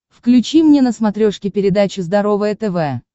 включи мне на смотрешке передачу здоровое тв